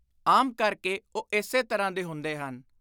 ਆਮ ਕਰਕੇ ਉਹ ਇਸੇ ਤਰ੍ਹਾਂ ਦੇ ਹੁੰਦੇ ਹਨ।